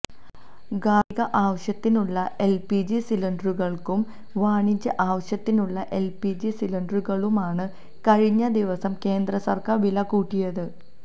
ഗാര്ഹിക ആവശ്യത്തിനുളള എല്പിജി സിലിണ്ടറുകള്ക്കും വാണിജ്യ ആവശ്യത്തിനുളള എല്പിജി സിലിണ്ടറുകള്ക്കുമാണ് കഴിഞ്ഞ ദിവവസം കേന്ദ്രസര്ക്കാര് വില കൂട്ടിയത്